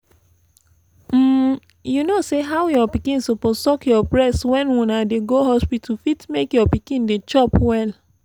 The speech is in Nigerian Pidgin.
um you know say how your pikin suppose suck your breast when una dey go hospital fit make your pikin dey chop well